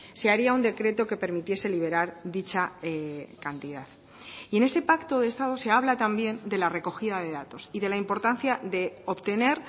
se haría un decreto que permitiese liberar dicha cantidad y en ese pacto de estado se habla también de la recogida de datos y de la importancia de obtener